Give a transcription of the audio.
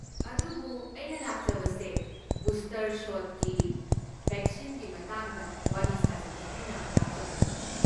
ꯑꯗꯨꯕꯨ, ꯑꯩꯅ ꯂꯥꯛꯆꯕꯁꯦ ꯕꯨꯁꯇꯔ ꯁꯣꯠꯀꯤ ꯕꯦꯛꯁꯤꯟꯒꯤ ꯃꯇꯥꯡꯗ ꯋꯥꯔꯤ ꯁꯥꯖꯒꯦ ꯍꯥꯏꯅ ꯂꯥꯛꯆꯕꯅꯤ꯫